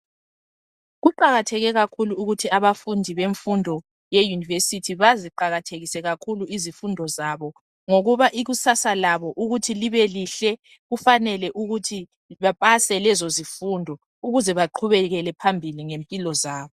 Kukatheke kakhulu ukuthi abafundi bemfundo yeyunivesithi baziqakathekise kakhulu izifundo zabo ngokuba ikusasa labo ukuthi libe lihle kufanele ukuthi bepase lezo zifunde ukuze baqhubekele phambili ngempilo zabo.